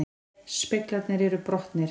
Speglarnir eru brotnir